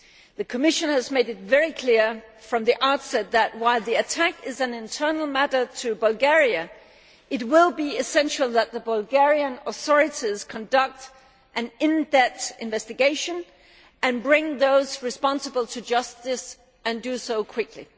The Commission has made it very clear from the outset that, while the attack is a matter which is internal to Bulgaria, it will be essential that the Bulgarian authorities conduct an in depth investigation and bring those responsible to justice and do so quickly.